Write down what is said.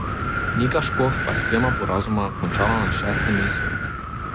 Nika Škof pa je z dvema porazoma končala na šestem mestu.